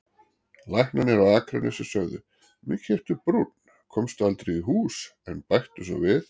Læknarnir á Akranesi sögðu: Mikið ertu brúnn, komstu aldrei í hús, en bættu svo við